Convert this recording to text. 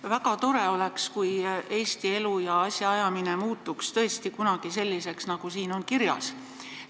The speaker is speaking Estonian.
Väga tore oleks, kui Eesti elu ja asjaajamine muutuks tõesti kunagi selliseks, nagu siin kirjas on.